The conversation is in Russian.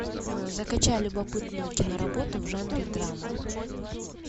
закачай любопытную киноработу в жанре драма